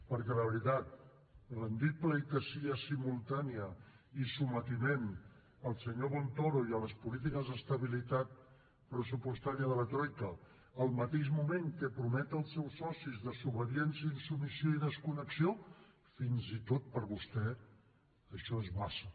perquè la veritat retre homenatge simultani i sotmetiment al senyor montoro i a les polítiques d’estabilitat pressupostària de la troica al mateix moment que promet als seus socis desobediència insubmissió i desconnexió fins i tot per a vostè això és massa